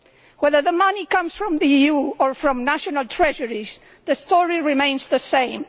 Whether the money comes from the EU or from national treasuries, the story remains the same.